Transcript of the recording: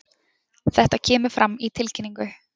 Þetta kemur fram í tilkynningu